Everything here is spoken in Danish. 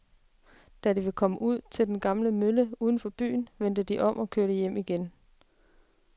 Da de var kommet ud til den gamle mølle uden for byen, vendte de om og kørte hjem igen.